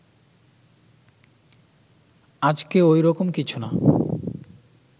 আজকে ওই রকম কিছু না